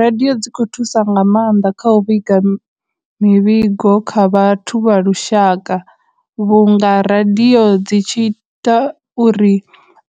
Radio dzi khou thusa nga maanḓa kha u vhiga mivhigo kha vhathu vha lushaka, vhunga radio dzi tshi ita uri